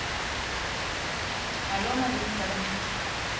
алена викторовна